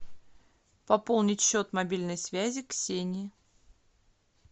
пополнить счет мобильной связи ксении